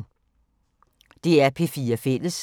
DR P4 Fælles